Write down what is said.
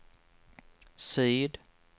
syd